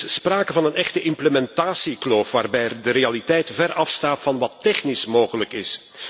Er is sprake van een echte implementatiekloof, waarbij de realiteit ver afstaat van wat technisch mogelijk is.